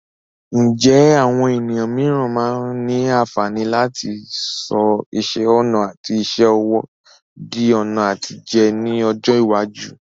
Ǹjẹ́ àwọn ènìyàn mìíràn máa ní àǹfààní láti sọ iṣẹ́ ọnà àti iṣẹ́ ọwọ́ di ọ̀nà àtijẹ ní ọjọ́ iwájú?